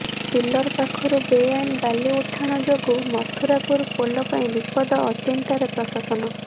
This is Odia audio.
ପିଲର ପାଖରୁ ବେଆଇନ ବାଲି ଉଠାଣ ଯୋଗୁଁ ମଥୁରାପୁର ପୋଲ ପାଇଁ ବିପଦ ଅଚିନ୍ତାରେ ପ୍ରଶାସନ